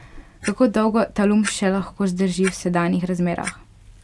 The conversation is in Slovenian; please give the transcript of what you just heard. Kako dolgo Talum še lahko zdrži v sedanjih razmerah?